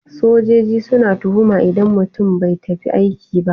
Sojoji suna tuhuma idan mutum bai tafi aiki ba.